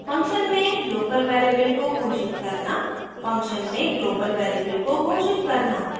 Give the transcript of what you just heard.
function में local variable को घोषित करना function में global variable को घोषित करना